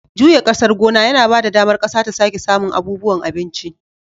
Juya ƙasar gona yana ba da damar ƙasa ta sake samun abubuwan abinci.